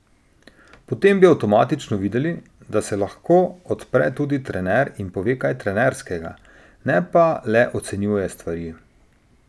Potem bi avtomatično videli, da se lahko odpre tudi trener in pove kaj trenerskega, ne pa le ocenjuje stvari.